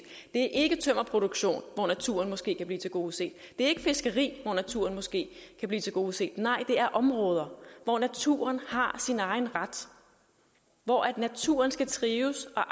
er ikke tømmerproduktion hvor naturen måske kan blive tilgodeset det er ikke fiskeri hvor naturen måske kan blive tilgodeset nej det er områder hvor naturen har sin egen ret hvor naturen skal trives og